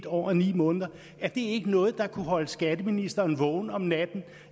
år og ni måneder er det ikke noget der kan holde skatteministeren vågen om natten